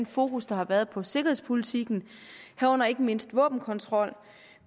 fokus der har været på sikkerhedspolitikken herunder ikke mindst våbenkontrol